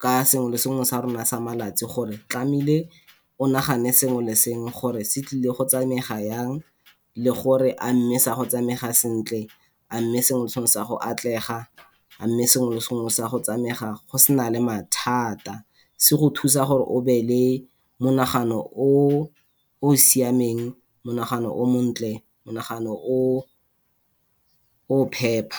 ka sengwe le sengwe sa rona sa malatsi, gore tlameile o nagane sengwe le sengwe gore se tlile go tsamega jang, le gore a mme sa go tsamega sentle, a mme sengwe atlega, a mme sengwe le sengwe se a go tsamega go sena le mathata. Se go thusa gore o be le monagano o siameng, monagano o montle, monagano o o phepa.